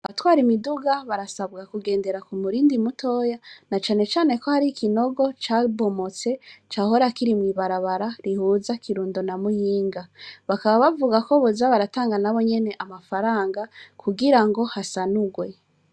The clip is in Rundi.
Abatwara imiduga barasabwa kugendera ku murindi mutoya na cane cane ko hariho ikinogo cabomotse cahora kiri mwibarabara rihuza Kirundo na Muyinga bakaba bavugako boza baratanaga na bonyene amafaranga kugirango hasanugwe.